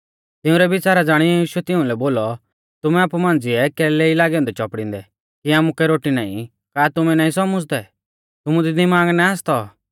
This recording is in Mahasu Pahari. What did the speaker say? तिंउरै विच़ारा ज़ाणियौ यीशुऐ तिउंलै बोलौ तुमै आपु मांझ़िऐ कैलै ई लागै औन्दै चौपड़िंदै कि आमुकै रोटी नाईं का तुमै नाईं सौमुझ़दै तुमु दी दिमाग ना आसतौ